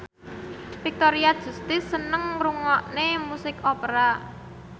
Victoria Justice seneng ngrungokne musik opera